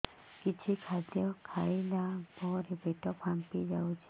କିଛି ଖାଦ୍ୟ ଖାଇଲା ପରେ ପେଟ ଫାମ୍ପି ଯାଉଛି